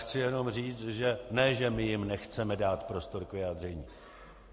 Chci jenom říct, že ne že my jim nechceme dát prostor k vyjádření.